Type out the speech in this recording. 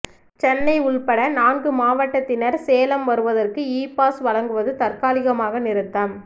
சென்னை உள்பட நான்கு மாவட்டத்தினர் சேலம் வருவதற்கு இ பாஸ் வழங்குவது தற்காலிமாக நிறுத்தம்